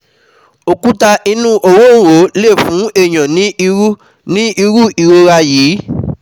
Òkúta inú òróǹro lè fún èèyàn ní irú ní irú ìrora yìí